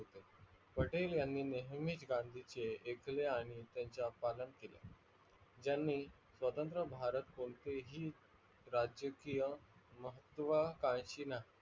पटेल यांनी नेहमी गांधीचे एकले आणि त्यांचे पालन केल. ज्यानि स्वतंत्र भारत कोणते ही राजकीय महत्वकांशी नाही.